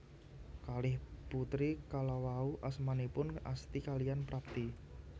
Kalih putri kalawau asmanipun Asti kaliyan Prapti